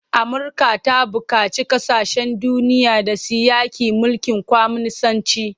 Amurka ta buƙaci kasashen duniya da su yaƙi mulkin kwaminisanci.